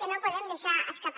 que no podem deixar escapar